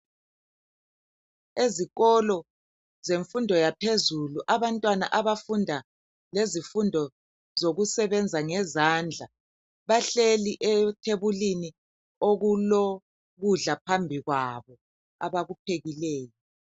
Ezikolo zemfundo yaphezulu abantwana abafunda ngezifundo zokusebenza ngezandla bahleli ethebulini okulokudla phambi kwabo abakuphekileyo